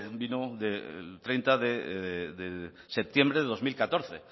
vino el treinta de septiembre de dos mil catorce